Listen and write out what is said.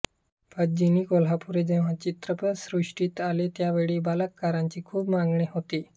पद्मिनी कोल्हापुरे जेव्हा चित्रपटसृष्टीत आल्या त्यावेळी बालकलाकारांची खूप मागणी होती